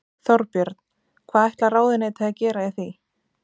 Þorbjörn: Hvað ætlar ráðuneytið að gera í því?